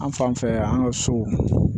An fan fɛ an ka so